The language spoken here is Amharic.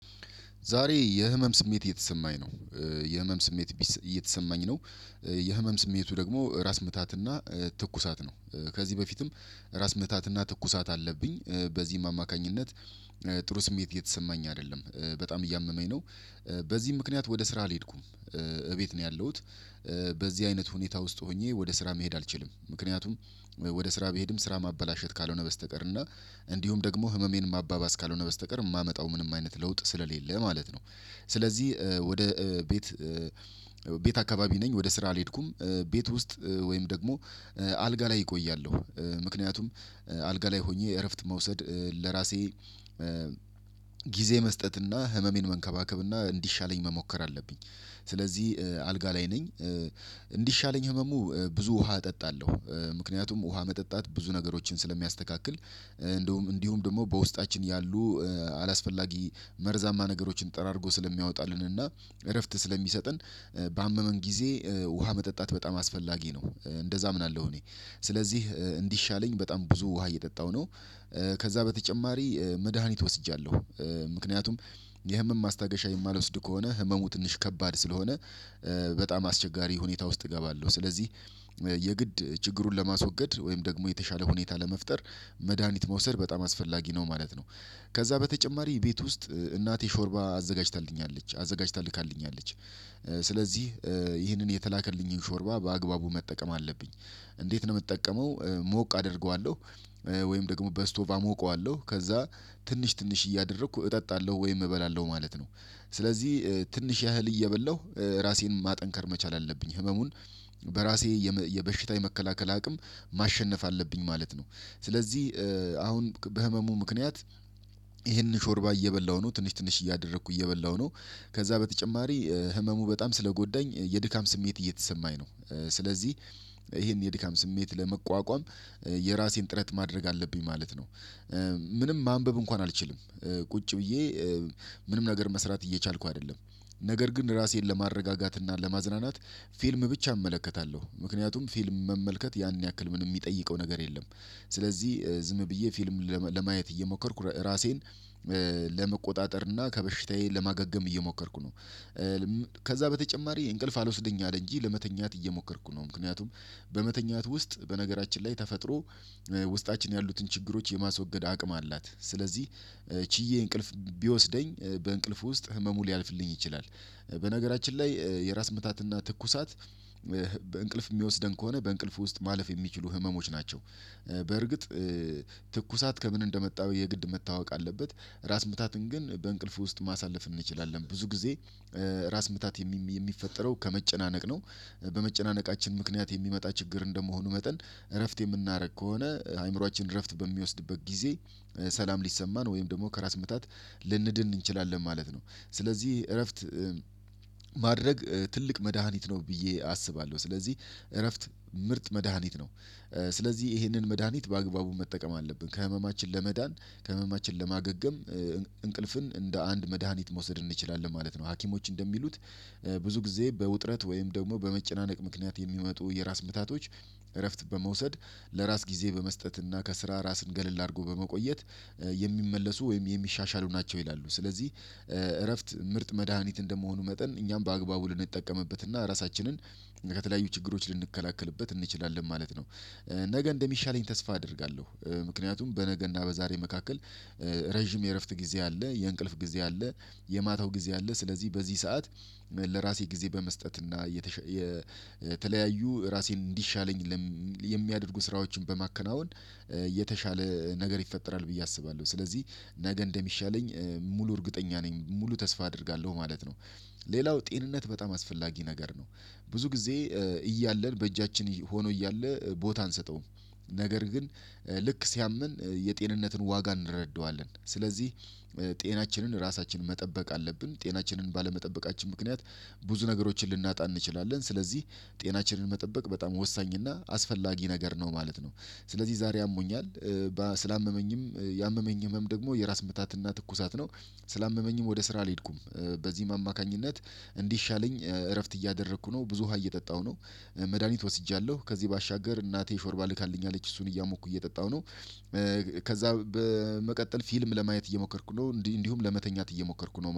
ዛሬ የህመም ስሜት እየተሰማኝ ነው። የህመም ስሜት እየተሰማኝ ነው። የህመም ስሜቱ ደግሞ ራስ ምታትና ትኩሳት ነው። ከዚህ በፊትም ራስ ምህታትና ትኩሳት አለብኝ። በዚህም አማካኝነት ጥሩ ስሜት እየተሰማኝ አይደለም። በጣም እያመመኝ ነው። በዚህም ምክንያት ወደ ስራ አልሄድኩም። እቤት ነው ያለሁት። በዚህ አይነት ሁኔታ ውስጥ ሆኜ ወደ ስራ መሄድ አልችልም። ምክንያቱም ወደ ስራ ብሄድም ስራ ማበላሸት ካልሆነ በስተቀር እና እንዲሁም ደግሞ ህመሜን ማባባስ ካልሆነ በስተቀር የማመጣው ምንም አይነት ለውጥ ስለሌለ ማለት ነው። ስለዚህ ወደ ቤት ቤት አካባቢ ነኝ ወደ ስራ አልሄድኩም። ቤት ውስጥ ወይም ደግሞ አልጋ ላይ እቆያለሁ። ምክንያቱም አልጋ ላይ ሆኜ እረፍት መውሰድ ለራሴ ጊዜ መስጠት እና ህመሜን መንከባከብ እና እንዲሻለኝ መሞከር አለብኝ። ስለዚህ አልጋ ላይ ነኝ። እንዲሻለኝ ህመሙ ብዙ ውሃ እጠጣለሁ። ምክንያቱም ውሃ መጠጣት ብዙ ነገሮችን ስለሚያስተካክል እንዲሁም እንዲሁም ደግሞ በውስጣችን ያሉ አላስፈላጊ መርዛማ ነገሮችን ጠራርጎ ስለሚያወጣልን እና እረፍት ስለሚሰጠን። ባመመን ጊዜ ውሃ መጠጣት በጣም አስፈላጊ ነው። እንደዛ አምናለሁ እኔ ስለዚህ እንዲሻለኝ በጣም ብዙ ውሃ እየጠጣሁ ነው። ከዛ በተጨማሪ መድሃኒት ወስጃለሁ። ምክንያቱም የህመም ማስታገሻ የማልወስድ ከሆነ ህመሙ ትንሽ ከባድ ስለሆነ በጣም አስቸጋሪ ሁኔታ ውስጥ እገባለሁ። ስለዚህ የግድ ችግሩን ለማስወገድ ወይም ደግሞ የተሻለ ሁኔታ ለመፍጠር መድሃኒት መውሰድ በጣም አስፈላጊ ነው ማለት ነው። ከዛ በተጨማሪ ቤት ውስጥ እናቴ ሾርባ አዘጋጅታልኛለች አዘጋጅታልካልኛለች። ስለዚህ ይህንን የተላከልኝን ሾርባ በአግባቡ መጠቀም አለብኝ። እንዴት ነው የምጠቀመው? ሞቅ አደርገዋለሁ ወይም ደግሞ በስቶብ አሞቀዋለሁ ከዛ ትንሽ ትንሽ እያደረኩ እጠጣለሁ ወይም እበላለሁ ማለት ነው። ስለዚህ ትንሽ ያህል እየበላሁ ራሴን ማጠንከር መቻል አለብኝ ህመሙን በራሴ የበሽታ የመከላከል አቅም ማሸነፍ አለብኝ ማለት ነው። ስለዚህ አሁን በህመሙ ምክንያት ይሄንን ሾርባ እየበላሁ ነው ትንሽ ትንሽ እያደረኩ እየበላሁ ነው። ከዛ በተጨማሪ ህመሙ በጣም ስለጎዳኝ የድካም ስሜት እየተሰማኝ ነው። ስለዚህ ይሄን የድካም ስሜት ለመቋቋም የራሴን ጥረት ማድረግ አለብኝ ማለት ነው። ምንም ማንበብ እንኳን አልችልም። ቁጭ ብዬ ምንም ነገር መስራት እየቻልኩ አይደለም። ነገር ግን ራሴን ለማረጋጋት እና ለማዝናናት ፊልም ብቻ እመለከታለሁ ምክንያቱም ፊልም መመልከት ያን ያክል ምንም የሚጠይቀው ነገር የለም። ስለዚህ ዝም ብዬ ፊልም ለማየት እየሞከርኩ ራሴን ለመቆጣጠር እና ከበሽታዬ ለማገገም እየሞከርኩ ነው። ከዛ በተጨማሪ እንቅልፍ አልወስደኝ አለ እንጂ ለመተኛት እየሞከርኩ ነው። ምክንያቱም በመተኛት ውስጥ በነገራችን ላይ ተፈጥሮ ውስጣችን ያሉትን ችግሮች የማስወገድ አቅም አላት። ስለዚህ ችዬ እንቅልፍ ቢወስደኝ በእንቅልፍ ውስጥ ህመሙ ሊያልፍልኝ ይችላል። በነገራችን ላይ የራስ ምታትና ትኩሳት በእንቅልፍ የሚወስደን ከሆነ በእንቅልፉ ውስጥ ማለፍ የሚችሉ ህመሞች ናቸው። በርግጥ ትኩሳት ከምን እንደመጣ የግድ መታወቅ አለበት። ራስ ምታትን ግን በእንቅልፍ ውስጥ ማሳለፍ እንችላለን ብዙ ጊዜ ራስ ምታት የሚፈጠረው ከመጨናነቅ ነው። በመጨናነቃችን ምክንያት የሚመጣ ችግር እንደመሆኑ መጠን እረፍት የምናደርግ ከሆነ አእምሮአችን እረፍት በሚወስድበት ጊዜ ሰላም ሊሰማን ወይም ደግሞ ከራስ ምታት ልንድን እንችላለን ማለት ነው። ስለዚህ እረፍት ማድረግ ትልቅ መድሃኒት ነው ብዬ አስባለሁ። ስለዚህ እረፍት ምርጥ መድሃኒት ነው። ስለዚህ ይሄንን መድሃኒት በአግባቡ መጠቀም አለብን ከህመማችን ለመዳን ከህመማችን ለማገገም እንቅልፍን እንደ አንድ መድሃኒት መውሰድ እንችላለን ማለት ነው። ሀኪሞች እንደሚሉት ብዙ ጊዜ በውጥረት ወይም ደግሞ በመጨናነቅ ምክንያት የሚመጡ የራስ ምታቶች እረፍት በመውሰድ ለራስ ጊዜ በመስጠት እና ከስራ ራስን ገለል አድርጎ በመቆየት የሚመለሱ ወይም የሚሻሻሉ ናቸው ይላሉ። ስለዚህ እረፍት ምርጥ መድሃኒት እንደመሆኑ መጠን እኛም በአግባቡ ልንጠቀምበት እና ራሳችንን ከተለያዩ ችግሮች ልንከላከልበት እንችላለን ማለት ነው። ነገ እንደሚሻለኝ ተስፋ አደርጋለሁ ምክንያቱም በነገና በዛሬ መካከል ረጅም የእረፍት ጊዜ አለ የእንቅልፍ ጊዜ አለ። የማታው ጊዜ አለ ስለዚህ በዚህ ሰዓት ለራሴ ጊዜ በመስጠት እና የተሸ የ ተለያዩ ራሴን እንዲሻለኝ የሚያደርጉ ስራዎችን በማከናወን የተሻለ ነገር ይፈጠራል ብዬ አስባለሁ። ስለዚህ ነገ እንደሚሻለኝ ሙሉ እርግጠኛ ነኝ ሙሉ ተስፋ አደርጋለሁ ማለት ነው። ሌላው ጤንነት በጣም አስፈላጊ ነገር ነው። ብዙ ጊዜ እያለን በእጃችን ሆኖ እያለ ቦታ አንሰጠውም። ነገር ግን ልክ ሲያምን የጤንነትን ዋጋ እንረዳዋለን። ስለዚህ ጤናችንን ራሳችንን መጠበቅ አለብን ጤናችንን ባለመጠበቃችን ምክንያት ብዙ ነገሮችን ልናጣ እንችላለን ስለዚህ ጤናችንን መጠበቅ በጣም ወሳኝ እና አስፈላጊ ነገር ነው ማለት ነው። ስለዚህ ዛሬ ያሞኛል ስላመመኝም ያመመኝ ህመም ደግሞ የራስ ምታትና ትኩሳት ነው። ስላመመኝም ወደ ስራ አልሄድኩም። በዚህም አማካኝነት እንዲሻለኝ እረፍት እያደረኩ ነው ብዙ ውሃ እየጠጣሁ ነው። መድሃኒት ወስጃለሁ ከዚህ ባሻገር እናቴ ሾርባ ልካልኝ አለች እሱን እያሞኩ እየጠጣሁ ነው። ከዛ በመቀጠል ፊልም ለማየት እየሞከርኩ ነው እንዲሁ ለመተኛት እየሞከርኩ ነው